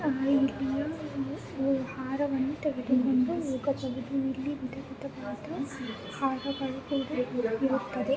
ಇಲ್ಲಿಯ ಒಂದು ಹೂ ಹಾರವನ್ನು ತೆಗೆದುಕೊಂಡು ಹೋಗಬಹುದು .ಇಲ್ಲಿ ವಿಧವಿಧವಾದ ಹಾರಗಳು ಕೂಡ ಇರುತ್ತದೆ. ಒಂದು ಬೆಕ್ಕು ಮಲಗಿದೆ.